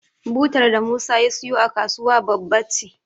Butar da Musa ya siyo a kasuwa babba ce.